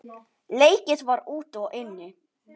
Leikið var úti og inni.